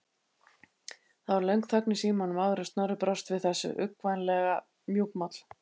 Það varð löng þögn í símanum áður en Snorri brást við þessu, uggvænlega mjúkmáll.